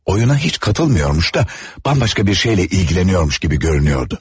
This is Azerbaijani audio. Oyuna heç qatılmırmış da, bambaşqa bir şeylə maraqlanırmış kimi görünürdü.